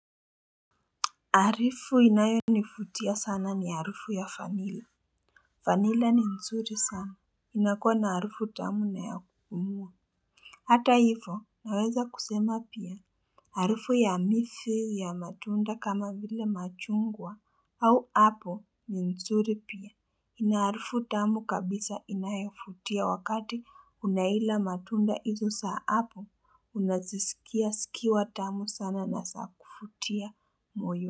Harifu inayonivutia sana ni harufu ya vanilla. Vanilla ni nzuri sana. Inakuwa na harufu tamu na ya kupumua. Hata hivyo, naweza kusema pia. Harufu ya miti ya matunda kama vile machungwa au apple ni nzuri pia. Ina harufu tamu kabisa inayovutia wakati unaila matunda hizo za apple, unaziskia zikiwa tamu sana na za kuvutia moyo.